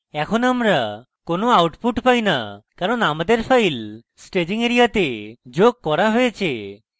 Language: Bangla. এখন আমরা কোনো output পাই না কারণ আমাদের files staging এরিয়াতে যোগ করা হয়েছে